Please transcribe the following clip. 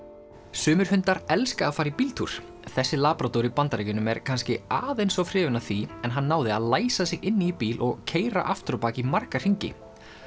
sumir hundar elska að fara í bíltúr þessi labrador í Bandaríkjunum er kannski aðeins of hrifinn af því en hann náði að læsa sig inni í bíl og keyra aftur á bak í marga hringi